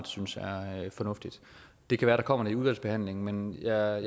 synes er fornuftigt det kan være der kommer det i udvalgsbehandlingen men jeg